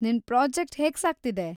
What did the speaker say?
ನಿನ್‌ ಪ್ರಾಜೆಕ್ಟ್‌ ಹೇಗ್‌ ಸಾಗ್ತಿದೆ?